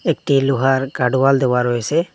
একটি লোহার guard wall দেওয়া রয়েসে।